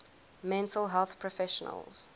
mental health professionals